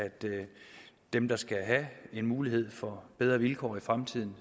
dem der skal have en mulighed for bedre vilkår i fremtiden